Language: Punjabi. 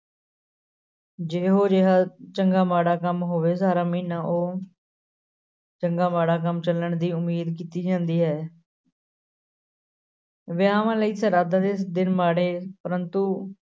ਜਿਹੋ ਜਿਹਾ ਚੰਗਾ ਮਾੜਾ ਕੰਮ ਹੋਵੇ ਸਾਰਾ ਮਹੀਨਾ ਉਹ ਚੰਗਾ ਮਾੜਾ ਕੰਮ ਚੱਲਣ ਦੀ ਉਮੀਦ ਕੀਤੀ ਜਾਂਦੀ ਹੈ ਵਿਆਹਵਾਂ ਲਈ ਸਰਾਧਾਂ ਦੇ ਦਿਨ ਮਾੜੇ ਪਰੰਤੂ